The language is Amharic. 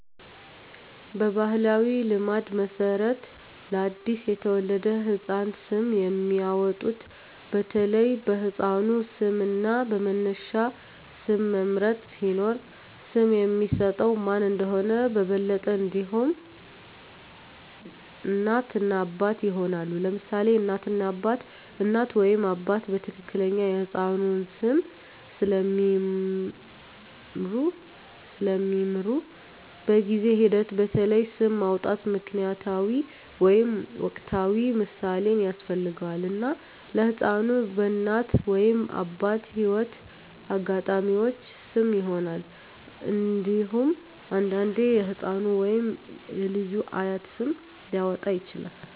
በባሕላዊ ልማድ መሠረት ለአዲስ የተወለደ ህፃን ስም የሚያወጡት በተለይ በሕፃኑ ስም እና በመነሻ ስም መምረጥ ሲኖር፣ ስም የሚሰጠው ማን እንደሆነ በበለጠ እንዲሆን፣ እናት እና አባት ይሆናሉ: ለምሳሌ እናት እና አባት: እናት ወይም አባት በትክክል የሕፃኑን ስም ስለሚምሩ፣ በጊዜ ሂደት በተለይ ስም ማውጣት ምክንያታዊ ወይም ወቅታዊ ምሳሌን ያስፈልጋል፣ እና ለሕፃኑ በእናት ወይም አባት የህይወት አጋጣሚዎች ስም ይሆናል። እንዴሁም አንዳንዴ የህፃኑ ወይም የልጁ አያት ስም ሊያወጣ ይችላል።